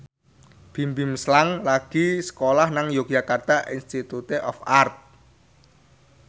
Bimbim Slank lagi sekolah nang Yogyakarta Institute of Art